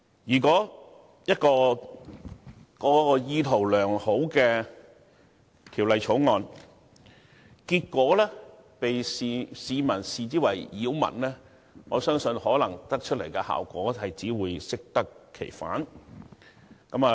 如果一項意圖良好的條例，被市民視為擾民，我相信最終產生的效果，只會適得其反。